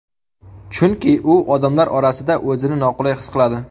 Chunki u odamlar orasida o‘zini noqulay his qiladi.